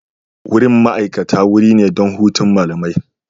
Wurin ma'aikata wuri ne don hutun malamai.